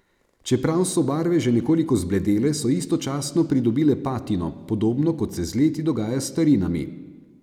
Čeprav so barve že nekoliko zbledele, so istočasno pridobile patino, podobno kot se z leti dogaja s starinami.